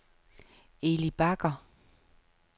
Eli Bagger